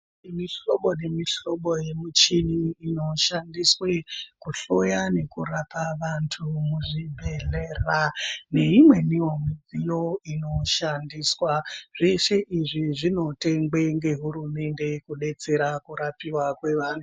Kune mihlobo nemihlobo yemichini inoshandiswa kuhloya nekurapa vantu muzvibhedhlera neimweni wo midziyo inoshandiswa zvese izvi zvinotengwa nehurumende kudetsera kurapiwa kwevantu.